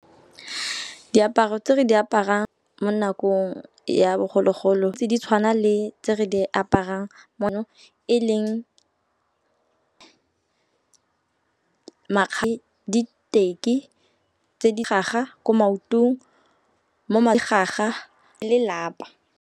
Diaparo tse re di aparang mo nakong ya bogologolo tse di tshwana le tse re di aparang mono, e leng diteki tse di gaga ko maotong mo lelapa.